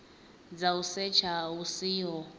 dza u setsha hu siho